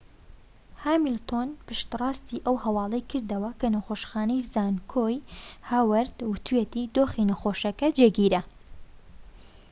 هامیلتۆن پشتڕاستی ئەو هەواڵەی کردەوە کە نەخۆشخانەی زانکۆی هاوەرد وتویەتی دۆخی نەخۆشەکە جێگیرە